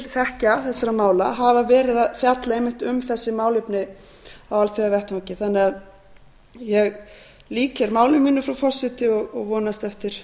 þekkja þessara mála hafa verið að fjalla einmitt um þessi málefni á alþjóðavettvangi ég lýk hér máli mínu frú forseti og vonast eftir